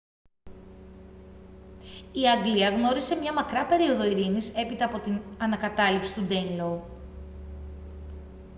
η αγγλία γνώρισε μια μακρά περίοδο ειρήνης έπειτα από την ανακατάληψη του ντέινλο